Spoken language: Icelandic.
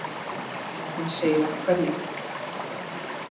Enginn segir af hverju.